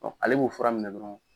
ale b'o fura minɛ dɔrɔn